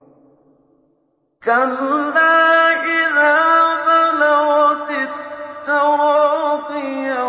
كَلَّا إِذَا بَلَغَتِ التَّرَاقِيَ